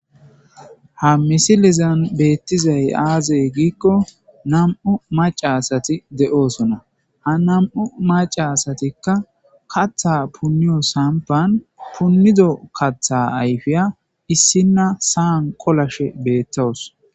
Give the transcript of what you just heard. ha misilizan beettizay aazey giikko nam7u maca asati de7oosona ha nam7u maca asatikka katha punniyo sampan punnizo katha ayfiya issinna saan kolashe beettowus